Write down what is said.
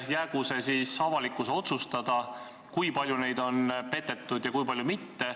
Jäägu see avalikkuse otsustada, kui palju neid on petetud ja kui palju mitte.